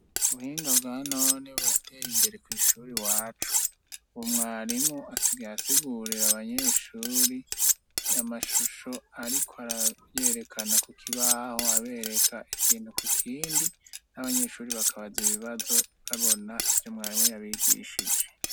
Ubuhinga bwa none burateye imbere kw'ishuri wacu. Ubu mwarimu asigaye asigurira abanyeshure amashusho ariko arayerekana ku kibaho abereka ikintu ku kindi n'abanyeshure bakabaza ibibazo babona ivyo mwarimu yabigishije.